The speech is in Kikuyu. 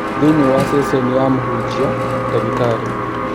Thĩiniĩ wa ceceni ya Mũhunjia, ndagĩtarĩ